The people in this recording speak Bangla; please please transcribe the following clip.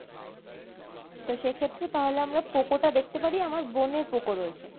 তো সেক্ষেত্রে তাহলে আমরা Poco টা দেখতে পারি আমার বোনের Poco রয়েছে